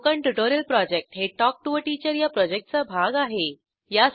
spoken tutorial project हे talk to teacher या प्रॉजेक्टचा भाग आहे